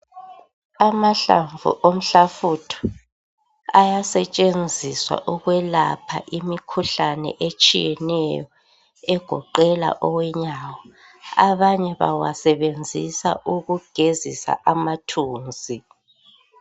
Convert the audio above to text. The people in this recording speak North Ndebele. Amahlamvu omhlafutho ayasetshenziswa ukwelapha imikhuhlane etshiyeneyo egoqela owenyawo, abanye bayasebenzisa ukugezisa amathunzi.